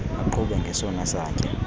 uqhube ngesona satya